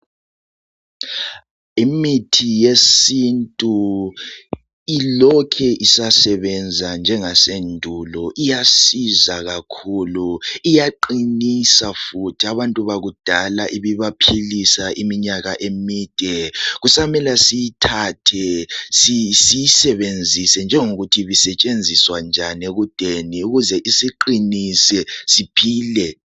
Imithi yesintu ilokhe isasebenza njengasendulo. Iyasiza kakhulu Iyaqinisa futhi. Abantu bakudala ibibaphilisa iminyaka emide .Kusamela siyithathe siyisebenzise njengokuthi ibisetshenziswa njani ekudeni ukuze isiqinise siphile